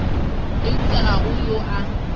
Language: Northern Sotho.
eupša ga go yo a